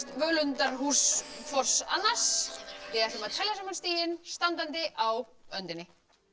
völundarhús hvors annars við ætlum að telja saman stigin standandi á öndinni